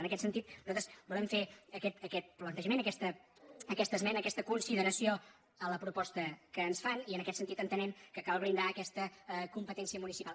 en aquest sentit nos·altres volem fer aquest plantejament aquesta esme·na aquesta consideració a la proposta que ens fan i en aquest sentit entenem que cal blindar aquesta compe·tència municipal